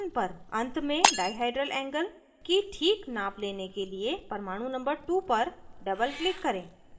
and में dihedral angle की ठीक नाप लेने के लिए परमाणु number 2 पर doubleclick करें